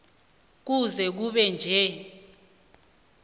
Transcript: kuze kube nje